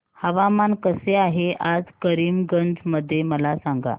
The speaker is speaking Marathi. हवामान कसे आहे आज करीमगंज मध्ये मला सांगा